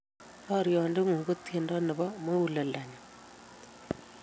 rariot ng'un ko tiendo nebo muguleldo nenyun